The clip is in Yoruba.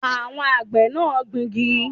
Àwọn àgbẹ̀ náà ń gbingi